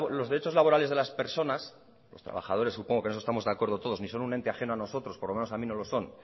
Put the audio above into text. los derechos laborales de las personas los trabajadores supongo que en eso estamos de acuerdo todos ni son un ente ajeno a nosotros por lo menos a mí no lo son